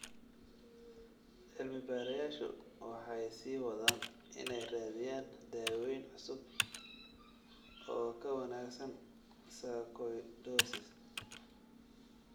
Cilmi-baarayaashu waxay sii wadaan inay raadiyaan daweyn cusub oo ka wanaagsan sarcoidosis.